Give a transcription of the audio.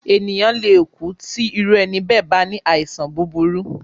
Ènìyàn le kú tí òru ẹni bẹ́ẹ̀ bá ní àìsàn búburú.